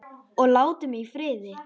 Og láti mig í friði.